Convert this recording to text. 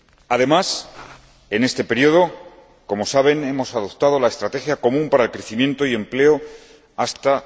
Además, en este período, como saben, hemos adoptado una estrategia común para el crecimiento y el empleo hasta